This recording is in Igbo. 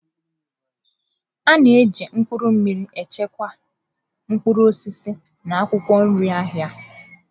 A na-eji mkpụrụ mmiri echekwa mkpụrụ osisi na akwụkwọ nri n'ahịa.